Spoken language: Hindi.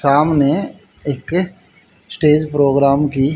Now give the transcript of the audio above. सामने एक स्टेज प्रोग्राम भी--